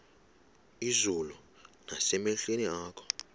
izulu nasemehlweni akho